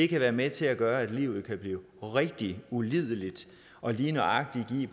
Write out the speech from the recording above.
kan være med til at gøre at livet kan blive rigtig ulideligt og lige nøjagtig give